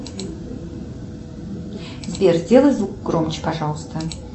сбер сделай звук громче пожалуйста